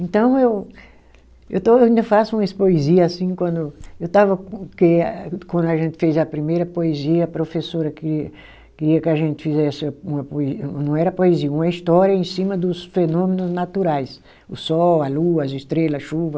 Então eu, eu estou eu ainda faço umas poesia assim quando, eu estava com o quê, quando a gente fez a primeira poesia, a professora que queria que a gente fizesse um po, não era poesia, uma história em cima dos fenômenos naturais, o sol, a lua, as estrela, a chuva,